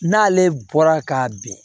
N'ale bɔra ka bin